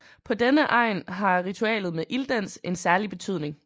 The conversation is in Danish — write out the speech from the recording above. På denne egen har ritualet med ilddans en særlig betydning